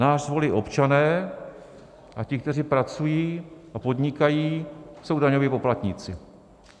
Nás volí občané a ti, kteří pracují a podnikají, jsou daňoví poplatníci.